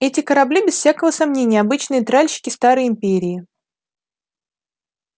эти корабли без всякого сомнения обычные тральщики старой империи